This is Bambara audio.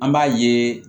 An b'a yeee